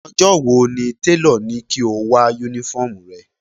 Ọjọ́ wo ni tèlọ̀ ní kí o wá Únífọ́ọ̀mù rẹ?